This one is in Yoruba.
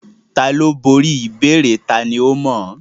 Tani ó borí ìbéèrè tani ó mọ̀ án?